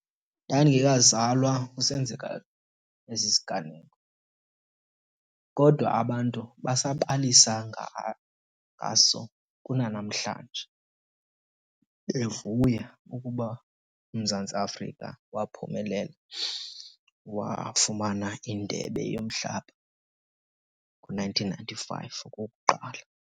Ndandingekazalwa kusenzeka esi siganeko kodwa abantu basabalisa ngaso kunanamhlanje bevuya ukuba uMzantsi Afrika waphumelela wafumana indebe yomhlaba ngo-nineteen ninety-five okokuqala.